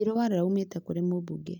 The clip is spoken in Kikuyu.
irũa rĩraumĩte kũrĩ mũmbunge